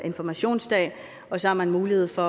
informationsdag og så har man mulighed for